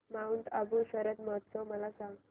Mount Abu शरद महोत्सव मला सांग